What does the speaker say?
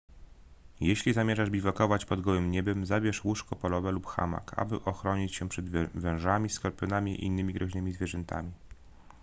jeśli zamierzasz biwakować pod gołym niebem zabierz łóżko polowe albo hamak aby ochronić się przed wężami skorpionami i innymi groźnymi zwierzętami